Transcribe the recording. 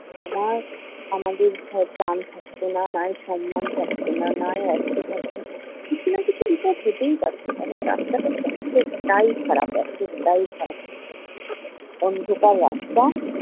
আমার আমাদের হয় প্রাণ থাকত না, নয় সম্মান থাকত না, নয় থাকতো। কিছু না কিছু বিপদ হতেই পারত। কারণ রাস্তাটা এতটাই খারাপ, এতটাই খারাপ। অন্ধকার রাস্তা